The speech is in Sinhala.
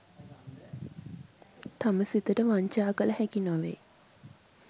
තම සිතට වංචා කළ හැකි නොවේ.